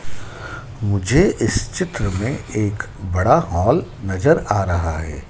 मुझे इस चित्र में एक बड़ा हॉल नजर आ रहा है।